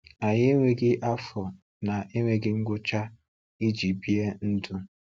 Anyị enweghị afọ na-enweghị ngwụcha iji bie ndu.